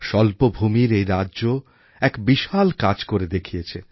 স্বল্প ভূমির এই রাজ্য এক বিশাল কাজ করে দেখিয়েছে